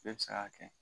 Bɛɛ bɛ se k'a kɛ